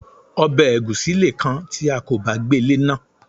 Obè ègúsí leè kan ti a kò bá gbée léná